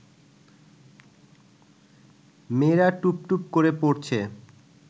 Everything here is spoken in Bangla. মেয়েরা টুপটুপ করে পড়ছে